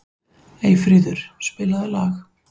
Eyfríður, spilaðu lag.